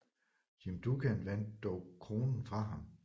Jim Duggan vandt dog kronen fra ham